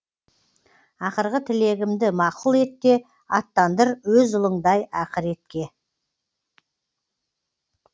ақырғы тілегімді мақұл ет те аттандыр өз ұлыңдай ақыретке